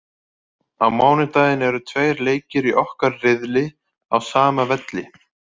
Á mánudaginn eru tveir leikir í okkar riðli á sama velli.